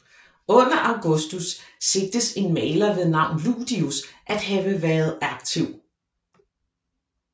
Under Augustus siges en maler ved navn Ludius at have været aktiv